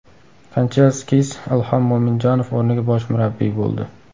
Kanchelskis Ilhom Mo‘minjonov o‘rniga bosh murabbiy bo‘ldi.